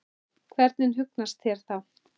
Hvernig hugnast þér það?